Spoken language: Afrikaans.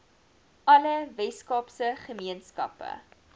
alle weskaapse gemeenskappe